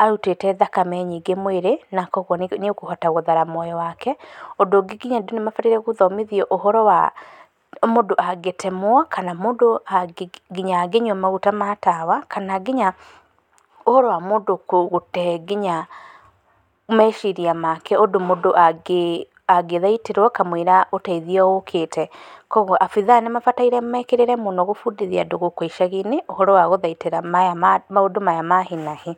arutĩte thakame nyingĩ mwĩrĩ na kwoguo nĩ ũkũhota hũthara mwĩrĩ wake, ũndũ ũngĩ nginya andũ nĩ mabitie gũthiĩ ũhoro wa mũndũ gũtemwo kana mũndũ nginya angĩtemwo kana mũndũ nginya angĩnyua maguta ma tawa kana nginya ũhoro wa mũndũ gũte meciria make ũndũ mũndũ angĩthĩitĩrwo kamũira kamũira ũteithio ũkĩte, kwoguo abitha nĩ mabatie mekĩrĩre mũno kũbundithia andũ gũkũ icagiinĩ ũhoro wa gũthaitĩra maũndũ maya ma hi na hi.